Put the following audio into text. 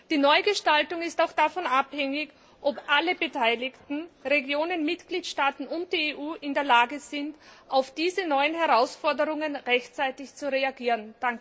Die Neugestaltung ist auch davon abhängig, ob alle Beteiligten Regionen, Mitgliedstaaten und die EU in der Lage sind, auf diese neuen Herausforderungen rechtzeitig zu reagieren.